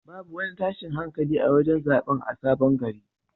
Babu wani tashin hankali a wajen zaɓen a sabon gari.